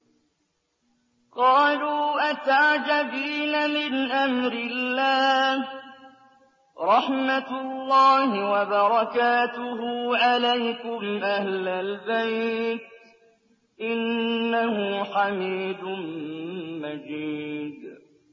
قَالُوا أَتَعْجَبِينَ مِنْ أَمْرِ اللَّهِ ۖ رَحْمَتُ اللَّهِ وَبَرَكَاتُهُ عَلَيْكُمْ أَهْلَ الْبَيْتِ ۚ إِنَّهُ حَمِيدٌ مَّجِيدٌ